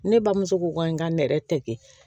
Ne bamuso ko n ka nɛrɛ tɛgɛ